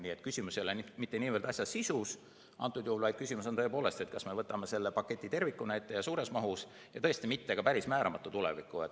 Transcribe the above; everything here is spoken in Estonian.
Nii et küsimus ei ole mitte niivõrd asja sisus antud juhul, vaid küsimus on tõepoolest selles, kas me võtame selle paketi tervikuna ette, suures mahus ja tõesti mitte ka päris määramata tulevikus.